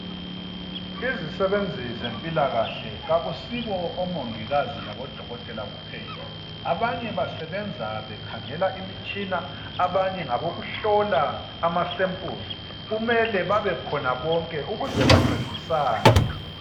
izisebenzi zempilakahle akusibo omongikazi labo dokotela kuphela abanye basebenza bekhangela imitshina abanye ngabokuhlola ama samples kumele babekhona bonke ukuze bancedisane